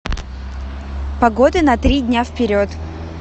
погода на три дня вперед